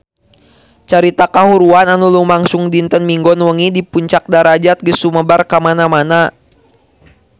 Carita kahuruan anu lumangsung dinten Minggon wengi di Puncak Darajat geus sumebar kamana-mana